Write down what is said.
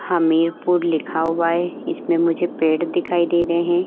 हमीरपुर लिखा हुआ हैं। इसमें मुझे पेड़ दिखाई दे रहे है।